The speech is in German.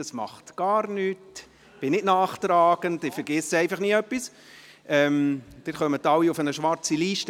Das macht gar nichts, ich bin nicht nachtragend, ich vergesse aber einfach nie etwas, Sie kommen alle auf eine schwarze Liste.